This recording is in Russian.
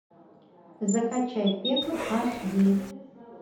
закачай пекло аш ди